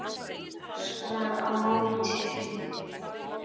Hún öskrar á móti.